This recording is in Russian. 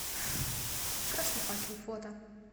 красный факел фото